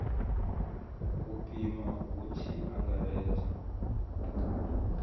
u pima hu tshi angaredzwa